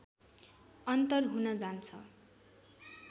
अन्तर हुन जान्छ